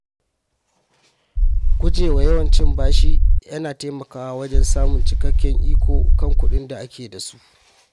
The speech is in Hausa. Guje wa yawan cin bashi yana taimakawa wajen samun cikakken iko kan kuɗin da ake da su.